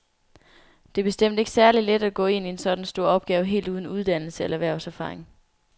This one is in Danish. Det er bestemt ikke særlig let at gå ind i sådan en stor opgave helt uden uddannelse eller erhvervserfaring.